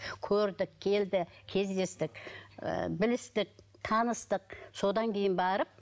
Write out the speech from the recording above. көрдік келді кездестік ыыы білістік таныстық содан кейін барып